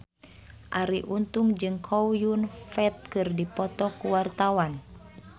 Arie Untung jeung Chow Yun Fat keur dipoto ku wartawan